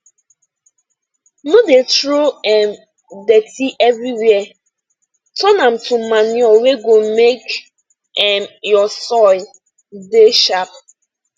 no dey throw um dirty everywhere turn am to manure wey go make um your soil dey sharp